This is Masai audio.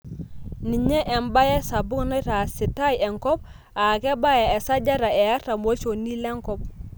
Ninye embaye sapuk naitaaasitai enkop aa kebaya esajata e artam olchoni lenkop.